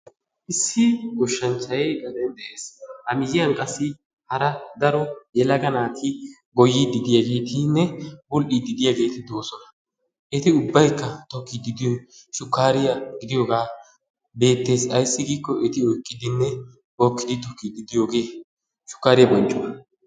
issi goshshanchchay gaden de'ees a miyyiyan qassi hara daro yelaga naati goyyiiddi diyaageetinne budhdhiiddi diyaageeti doosona eti ubbayikka tokkiiddi diyoyi shukkariyaa gidiyoogaa beettees ayissi giikko eti oyiqqidinne hokkidi tokkiiddi diyoogee shukkaariyaa bonccuwa.